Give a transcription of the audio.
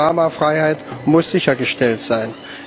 Die Panoramafreiheit muss sichergestellt sein.